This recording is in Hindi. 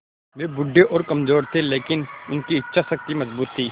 वे बूढ़े और कमज़ोर थे लेकिन उनकी इच्छा शक्ति मज़बूत थी